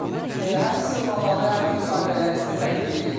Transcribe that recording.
Həmin sinxronları, həmin müsahibələri sizə təqdim eləyirik.